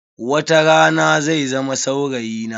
Watarana zai zama saurayi na.